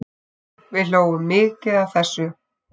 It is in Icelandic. Við hlógum mikið að þessu.